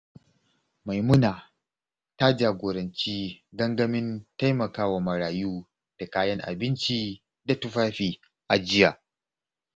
Maimuna ta jagoranci gangamin taimakawa marayu da kayan abinci da tufafi a jiya.